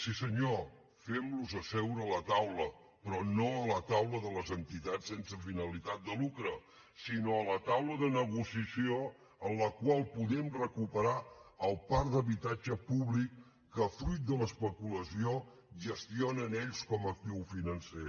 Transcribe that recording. sí senyor fem los seure a la taula però no a la taula de les entitats sense finalitat de lucre sinó a la taula de negociació en la qual podem recuperar el parc d’habitatge públic que fruit de l’especulació gestionen ells com a actiu financer